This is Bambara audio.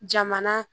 Jamana